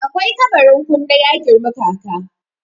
akwai kabarin kunne ya girmi kaka